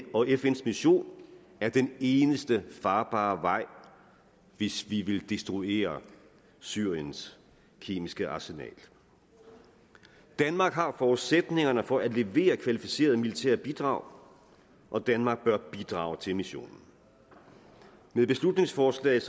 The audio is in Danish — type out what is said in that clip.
og fns vision er den eneste farbare vej hvis vi vil destruere syriens kemiske arsenal danmark har forudsætningerne for at levere kvalificerede militære bidrag og danmark bør bidrage til missionen med beslutningsforslaget